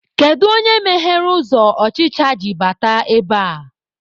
Kedu onye meghere ụzọ ọchịcha ji bata ebea?